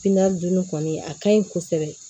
dunni kɔni a kaɲi kosɛbɛ